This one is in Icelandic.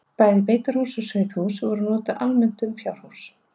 Bæði beitarhús og sauðahús eru notuð almennt um fjárhús.